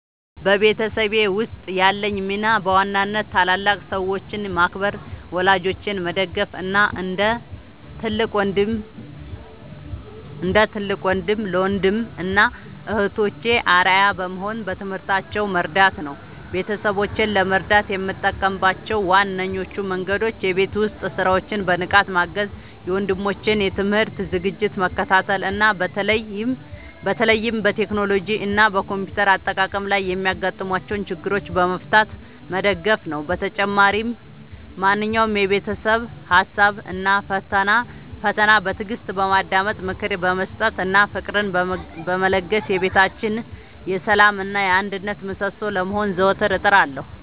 በቤተሰቤ ውስጥ ያለኝ ሚና በዋናነት ታላላቅ ሰዎችን ማክበር፣ ወላጆቼን መደገፍ እና እንደ ትልቅ ወንድም ለወንድም እና እህቶቼ አርአያ በመሆን በትምህርታቸው መርዳት ነው። ቤተሰቦቼን ለመርዳት የምጠቀምባቸው ዋነኞቹ መንገዶች የቤት ውስጥ ሥራዎችን በንቃት ማገዝ፣ የወንድሞቼን የትምህርት ዝግጅት መከታተል እና በተለይም በቴክኖሎጂ እና በኮምፒውተር አጠቃቀም ላይ የሚያጋጥሟቸውን ችግሮች በመፍታት መደገፍ ነው። በተጨማሪም ማንኛውንም የቤተሰብ ሀሳብ እና ፈተና በትዕግስት በማዳመጥ፣ ምክር በመስጠት እና ፍቅርን በመለገስ የቤታችን የሰላም እና የአንድነት ምሰሶ ለመሆን ዘወትር እጥራለሁ።